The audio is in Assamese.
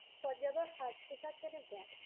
পঞ্জাৱৰ সাজ-পোছাক কেনেকুৱা?